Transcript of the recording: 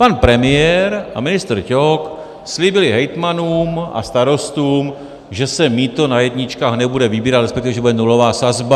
Pan premiér a ministr Ťok slíbili hejtmanům a starostům, že se mýto na jedničkách nebude vybírat, respektive, že bude nulová sazba.